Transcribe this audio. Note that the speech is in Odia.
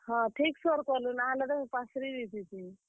ହଁ, ଠିକ୍ ସୋର୍ କଲୁ ନାଁ ହେଲେ, ତ ମୁଇଁ ପାସରି ଦେଇଥିତି।